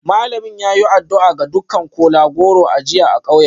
Malamin ya yi addu'a ga dukkan kola-goro a jiya a kauyen.